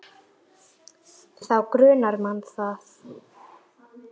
Þá grunar mann það.